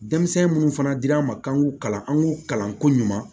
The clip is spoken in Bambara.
Denmisɛnnin munnu fana dir'an ma k'an k'u kalan an k'u kalan ko ɲuman